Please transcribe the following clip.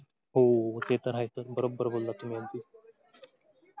हो ते तर आहेच sir बरोब्बर बोललात तुम्ही अगदी.